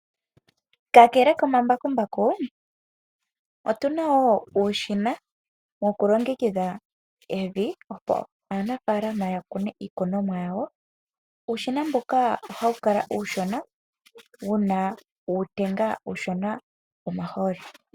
Kakele komambakumbaku otuna wo uushina woku longekidha evi opo aanafaalama ya kune iikunomwa yawo, uushina mbuka hawu kala uushona wuna uutenga uushona womahooli